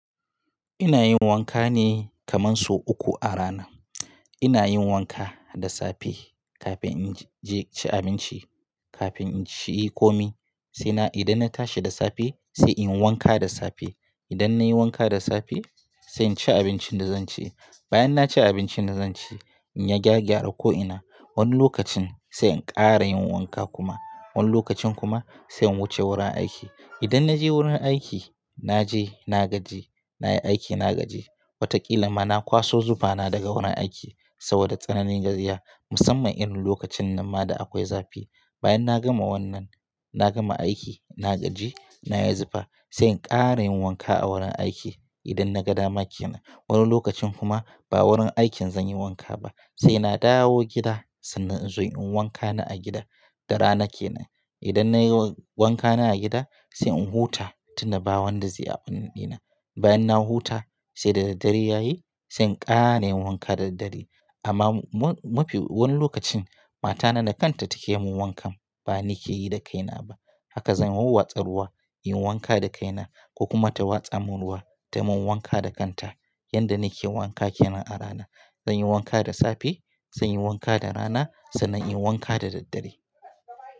Ina yin wanka ne kaman so uku a rana. Ina yin wanka da safe kafin in je ci abinci, kafin in ci komai. Sai na idan na tashi da safe sai in wanka da safe. Idan nayi wanka da safe sai in ci abincin da zan ci. Bayan na ci abincin da zan ci in ya gyagyara ko'ina. Wani lokacin sai in kara yin wanka kuma. Wani lokacin kuma sai in wuce wurin aiki. Idan na je wurin aiki, na je na gaji, nayi aiki na gaji. Watakila ma na kwaso zufana daga wurin aiki saboda tsananin gajiya musamman irin lokacin nan ma da akwai zafi. Bayan na gama wannan, na gama aiki, na gaji, na yi zufa sai in kara yin wanka a wurin aiki idan na ga dama ke nan. Wani lokacin kuma ba wurin aikin zan yi wanka ba sai na dawo gida sannan in zo in wanka na a gida da rana ke nan. Idan nayi wanka na a gida sai in huta tunda wanda zai aɓunan dina. Bayan na huta sai daddare yayi sai in kara nayi wanka daddare. Amma mu-mu-mufi wani lokacin matana da kanta take mun wankan ba ni ke yi da kaina ba. Haka zan wa watsa ruwa, in yi wanka da kaina ko kuma ta watsa mun ruwa ta mun wanka da kanta. Yanda nake yin wanka kenan a rana. Zan yi wanka da safe, zan yi wanka da rana, sannan in yi wanka da daddare.